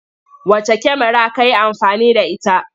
Wacce kyamara ka yi amfani da ita?